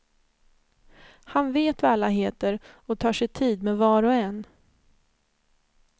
Han vet vad alla heter och tar sig tid med var och en.